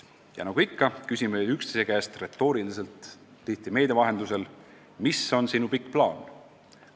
Ja nagu ikka, küsime üksteise käest retooriliselt, tihti meedia vahendusel: mis on sinu pikk plaan?